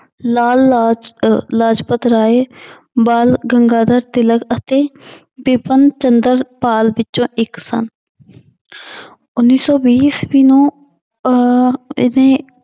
ਲਾਲ ਲਾਜ ਅਹ ਲਾਜਪਤ ਰਾਏ ਬਾਲ ਗੰਗਾਧਰ ਤਿਲਕ ਅਤੇ ਬਿਪਨ ਚੰਦਰ ਪਾਲ ਵਿੱਚੋਂ ਇੱਕ ਸਨ ਉੱਨੀ ਸੌ ਵੀਹ ਈਸਵੀ ਨੂੰ ਅਹ ਇਹਨੇ